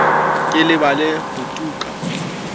ke lebale ho tu ka